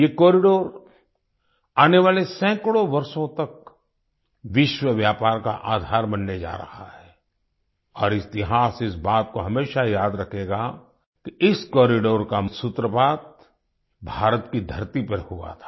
ये कॉरिडोर आने वाले सैकड़ों वर्षों तक विश्व व्यापार का आधार बनने जा रहा है और इतिहास इस बात को हमेशा याद रखेगा कि इस कॉरिडोर का सूत्रपात भारत की धरती पर हुआ था